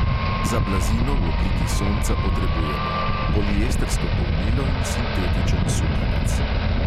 Za blazino v obliki sonca potrebujemo: poliestrsko polnilo in sintetičen sukanec.